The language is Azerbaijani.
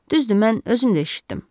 Düzdür, mən özüm də eşitdim.